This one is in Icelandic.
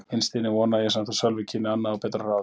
Innst inni vonaði ég samt að Sölvi kynni annað og betra ráð.